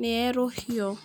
nĩ yerũhio.